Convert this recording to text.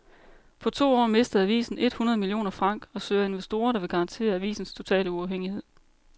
På to år mistede avisen et hundrede millioner franc og søger investorer, der vil garantere avisens totale uafhængighed.